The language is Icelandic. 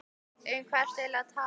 Um hvað ertu eigin lega að tala?